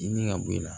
Dimi ka bɔ e la